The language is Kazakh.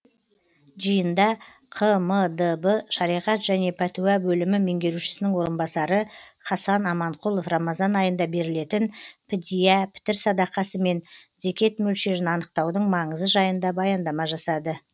жиында қмдб шариғат және пәтуа бөлімі меңгерушісінің орынбасары хасан аманқұлов рамазан айында берілетін підия пітір садақасы мен зекет мөлшерін анықтаудың маңызы жайында баяндама жасады